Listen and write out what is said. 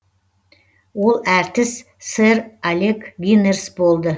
ол әртіс сэр алек гинерс болды